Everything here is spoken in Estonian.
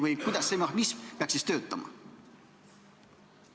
Või kuidas see mehhanism peaks siis töötama?